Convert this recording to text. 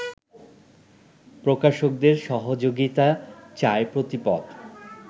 প্রকাশকদের সহযোগিতা চায় প্রতিপদ